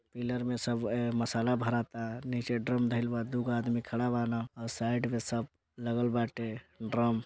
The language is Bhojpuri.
पिलर में सब ए मसाला भराता नीचे ड्रम धैल बा दोगो आदमी खड़ा बा न और साइड में सब लगल बाटे ड्रम --